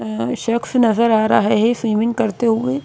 अअ शख्स नजर आ रहा है स्विमिंग करते हुए।